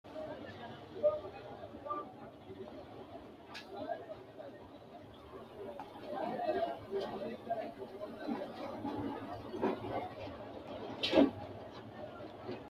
Mannaho irko assittanni babbaxxitino garinni somante uurritino halanyotuwinni sae gaamote uurrinshati nyala tanatanote uurrinsha yaamantano su'mase ise horo bande anfe harunsanna miilla ikka noonke.